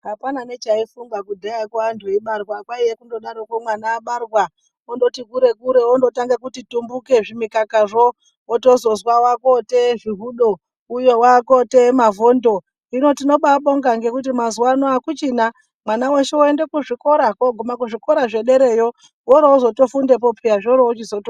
Apana nechaifungwa kudhayako antu eibarwa kwaiya kundodaroko mwana abarwa ondoti kure kure ondotanga kundoti tumbuke zvimukaka zvo otozozwa wakoteye zvihudo uyo wakoteye mavhondo, gino tinobabonga ngekuti mazuwano akuchina mwana weshe oende kuzvikora koguma kuzvikora zvedereyo orozotofundepo peya zvorochizoto